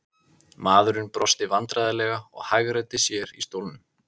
Maðurinn brosti vandræðalega og hagræddi sér í stólnum.